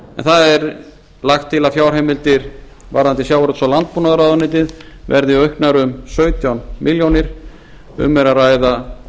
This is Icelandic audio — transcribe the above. það er lagt til að fjárheimildir varðandi sjávarútvegs og landbúnaðarráðuneytið verði auknar um sautján milljónir um er að ræða